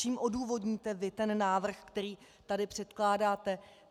Čím odůvodníte vy ten návrh, který tady předkládáte?